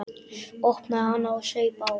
Opnaði hana og saup á.